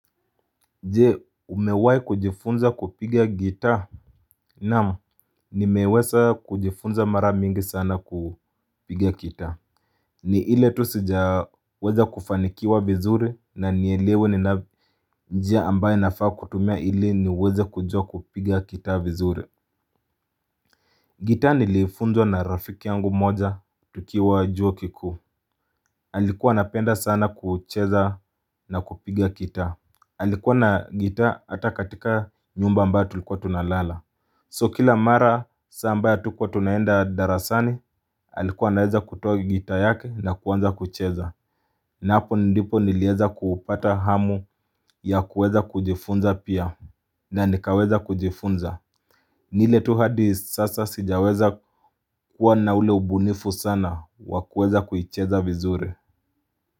Je umewai kujifunza kupiga gitaa Naam nimeweza kujifunza mara mingi sana kupiga gitaa ni ile tu sijaweza kufanikiwa vizuri na nielewe ni njia ambaye nafaa kutumia ili niweze kujua kupiga gitaa vizuri gitaa nilifunzwa na rafiki yangu moja tukiwa juo kikuu Alikuwa anapenda sana kucheza na kupiga gitaa alikuwa na gitaa hata katika nyumba ambayo tulikuwa tunalala So kila mara saa ambayo hatukuwa tunaenda darasani alikuwa anaweza kutoa gitaa yake na kuanza kucheza na haoo ndipo nilieza kupata hamu ya kuweza kujifunza pia na nikaweza kujifunza ni ile tu hadi sasa sijaweza kuwa na ule ubunifu sana wa kuweza kuicheza vizuri.